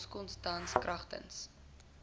okosa tans kragtens